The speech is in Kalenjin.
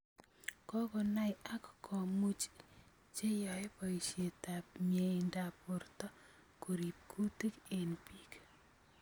Kokonaai ak komuuch cheyaae boisyeetab myeindaab borto koriib kuutik eng biik